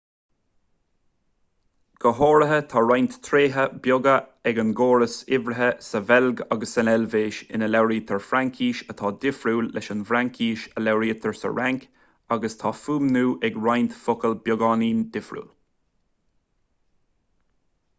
go háirithe tá roinnt tréithe beaga ag an gcóras uimhrithe sa bheilg agus san eilvéis ina labhraítear fraincis atá difriúil leis an bhfraincis a labhraítear sa fhrainc agus tá fuaimniú ag roinnt focal beagáinín difriúil